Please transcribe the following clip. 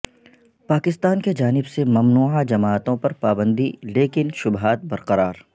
پاکستان کی جانب سے ممنوعہ جماعتوں پرپابندی لیکن شبہا ت برقرار